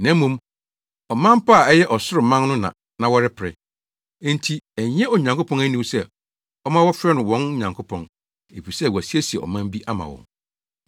Na mmom, ɔman pa a ɛyɛ ɔsoro man no na na wɔrepere. Enti ɛnyɛ Onyankopɔn aniwu sɛ ɔma wɔfrɛ no wɔn Nyankopɔn, efisɛ wasiesie ɔman bi ama wɔn.